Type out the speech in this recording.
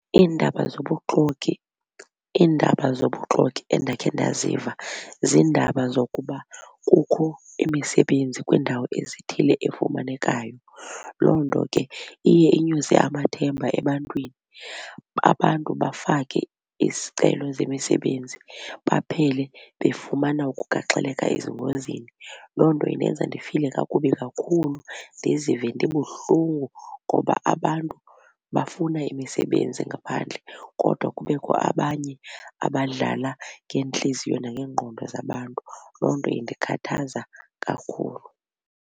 Iindaba zobuxoki, Iindaba zobuxoki endakhe ndaziva ziindaba zokuba kukho imisebenzi kwiindawo ezithile efumanekayo. Loo nto ke iye inyuse amathemba ebantwini abantu bafake isicelo zemisebenzi baphele befumana ukugaxeleka ezingozini. Loo nto indenza ndifile kakubi kakhulu, ndizive ndibuhlungu ngoba abantu bafuna imisebenzi ngaphandle kodwa kubekho abanye abadlala ngeentliziyo nangeengqondo zabantu, loo nto indikhathaza kakhulu.